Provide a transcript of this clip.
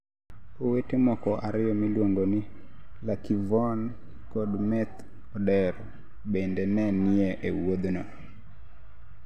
Owete moko ariyo miluongo ni luckyvon kod Meth Odero bende ne ni e wuodhno.